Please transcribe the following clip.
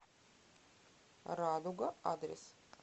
радуга адрес